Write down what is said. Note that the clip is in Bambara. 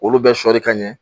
Olu bɛ sɔɔri ka ɲɛ